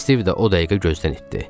Stiv də o dəqiqə gözdən itdi.